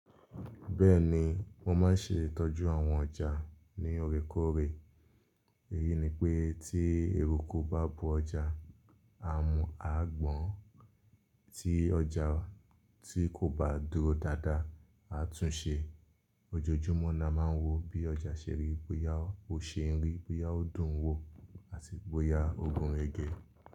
Bẹ́ẹ̀ni, wọ́n máa ń ṣe ìtọ́jú àwọn ọjà ní òrékọ́rẹ́ èyí ni pé tí eruku bá bo ọjà, a mọ̀, a gbọ́n tí ọjà tí kò bá dúró dáadáa, a tún ṣe. Òjojúmọ́ ni a máa ń wo bí ọjà ṣe rí, bóyá ó ṣe irin, bóyá ó dùn wò àti bóyá ó gún ẹgẹ.